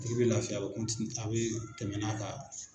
A tigi bi lafiya a bi tɛmɛ n'a ka.